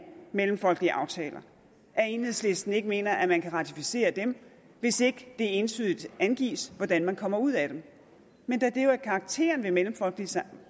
mellemfolkelige aftaler at enhedslisten ikke mener man kan ratificere dem hvis ikke det entydigt angives hvordan man kommer ud af dem men da det jo er karakteren ved mellemfolkelige